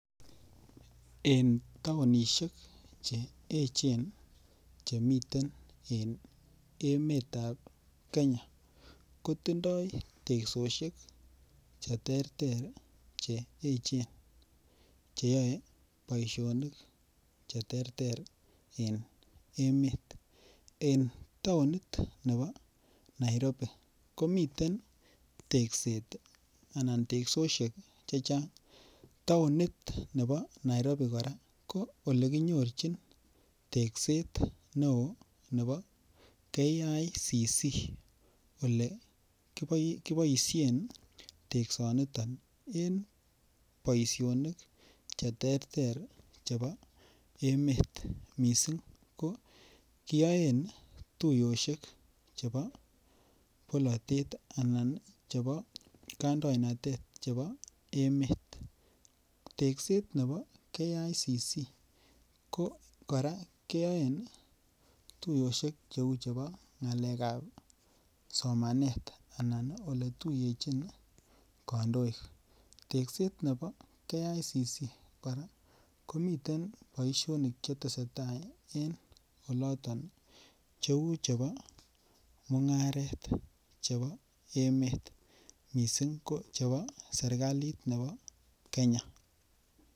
En taonisiek che echen chemiten emetab kenya kotindoo teksosiek cheterter che echen cheyoe boisionik cheterter en emet, En taonit ne bo Nairobi komiten tekset anan teksosiek chechang taonit nebo Nairobi kora ko olekinyorchin tekset neo ne bo KICC olekiboisien teksoniton en boisionik cheterter chebo emet mising ko kiyoen tuiyosiek chebo bolatet alan chebo kandoinatet ne bo emet tekset kora ne bo KICC kora ko kiyoen tuiyosiek cheu chebo ng'alekab somanet anan oletuiyechin kandoik tekset nebo KICC komiten boisionik cheteseitai en oloton cheu chebo mung'aret chebo emet missing ko chebo serikalit ne bo kenya.